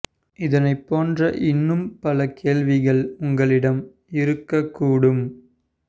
இதைப் போன்ற இன்னும் பல கேள்விகள் உங்களிடம் இருக்கக் கூடும்